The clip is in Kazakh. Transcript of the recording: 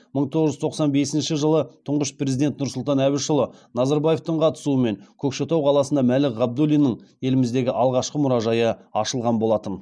мың тоғыз жүз тоқсан бесінші жылы тұңғыш президент нұрсұлтан әбішұлы назарбаевтың қатысуымен көкшетау қаласында мәлік ғабдуллиннің еліміздегі алғашқы мұражайы ашылған болатын